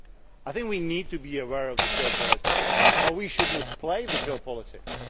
I think we need to be aware of geopolitics, but we should not play geopolitics.